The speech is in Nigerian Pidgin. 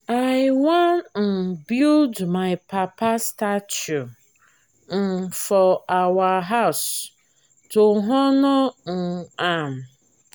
i wan um build my papa statue um for our house to honor um am